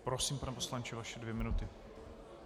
Prosím, pane poslanče, vaše dvě minuty.